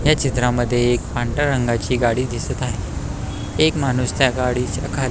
ह्या चित्रामध्ये एक पांढऱ्या रंगाची गाडी दिसत आहे एक माणुस त्या गाडीच्या खाली --